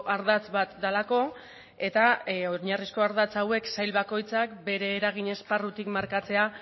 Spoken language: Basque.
ardatz bat delako eta oinarrizko ardatz hauek sail bakoitzak bere eragin esparrutik markatzea